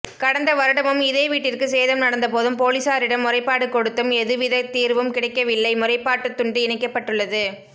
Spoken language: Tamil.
கடந்த வருடமும் இதே வீட்டிற்கு சேதம் நடந்தபோதும் போலீசாரிடம் முறைப்பாடு கொடுத்தும் எதுவித தீர்வும் கிடைக்கவில்லை முறைப்பாட்டு துண்டு இணைக்கப்பட்டுள்ளது